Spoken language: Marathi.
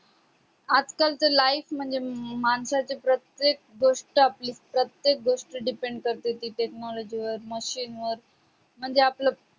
आज काल च्या life म्हणजे हम्म माणसाच्य प्रत्येक गोष्ठ आपली प्रत्येक गोष्ठ depend कर्ती ती technology वर machine वर म्हणजे आपलं